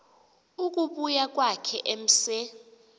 ukubuya kwakhe emse